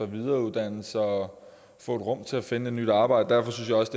videreuddanne sig og få et rum til at finde et nyt arbejde derfor synes jeg også